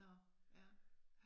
Nå ja